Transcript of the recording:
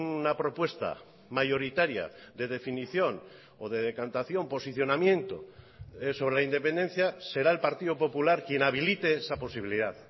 una propuesta mayoritaria de definición o de decantación posicionamiento sobre la independencia será el partido popular quien habilite esa posibilidad